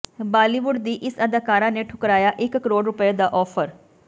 ਬਾਲੀਵੁੱਡ ਦੀ ਇਸ ਅਦਾਕਾਰਾ ਨੇ ਠੁਕਰਾਇਆ ਇੱਕ ਕਰੋੜ ਰੁਪਏ ਦਾ ਆਫ਼ਰ